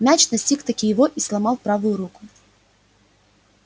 мяч настиг-таки его и сломал правую руку